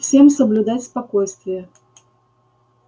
всем соблюдать спокойствие